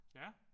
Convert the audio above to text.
Ja